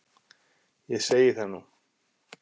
Ég segi það nú!